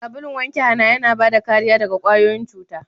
Sabulun wanke hana yana bada kariya daga kwayoyin cuta.